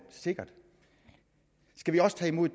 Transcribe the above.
sikkert skal vi også tage imod